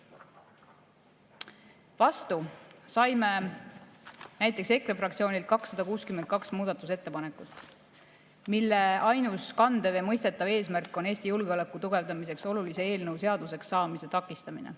Vastu saime näiteks EKRE fraktsioonist 262 muudatusettepanekut, mille ainus kandev ja mõistetav eesmärk on Eesti julgeoleku tugevdamiseks olulise eelnõu seaduseks saamise takistamine.